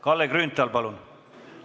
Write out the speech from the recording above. Kalle Grünthal, palun!